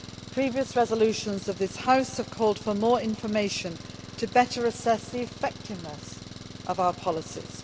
Previous resolutions of this House have called for more information to better assess the effectiveness of our policies.